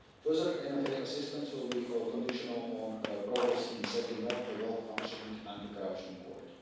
data. Further MFA assistance will be conditional on progress in setting up a well-functioning anti corruption court.